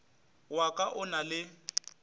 wa ka o na le